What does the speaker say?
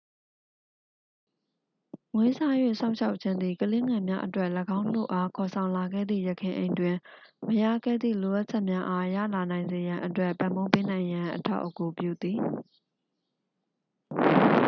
မွေးစား၍ စောင့်ရှောက်ခြင်းသည် ကလေးငယ်များအတွက် ၎င်းတို့အား ခေါ်ဆောင်လာခဲ့သည့် ယခင်အိမ်တွင် မရခဲ့သည့် လိုအပ်ချက်များအားရလာနိုင်စေရန်အတွက် ပံ့ပိုးပေးနိုင်ရန် အထောက်အကူပြုသည်